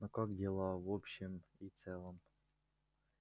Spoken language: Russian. ну как дела в общем и целом